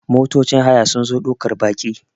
motocin haya sun zo daukar Baki